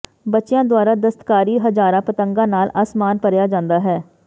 ਬੱਚਿਆਂ ਦੁਆਰਾ ਦਸਤਕਾਰੀ ਹਜ਼ਾਰਾਂ ਪਤੰਗਾਂ ਨਾਲ ਅਸਮਾਨ ਭਰਿਆ ਜਾਂਦਾ ਹੈ